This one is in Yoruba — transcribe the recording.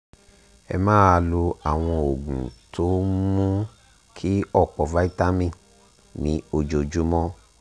ẹ máa lo àwọn oògùn tó ń mú kí ọ̀pọ̀ vitamin ní ojoojúmọ́